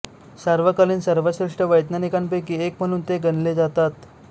सार्वकालिक सर्वश्रेष्ठ वैज्ञानिकांपैकी एक म्हणून ते गणले जातात